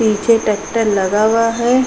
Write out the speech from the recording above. पीछे ट्रॅक्टर लगा हुआ है।